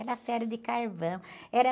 Era ferro de carvão. Era